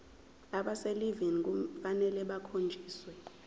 abaselivini kufanele bakhonjiswe